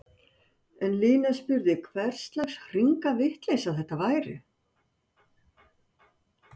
En Lína spurði hverslags hringavitleysa þetta væri?!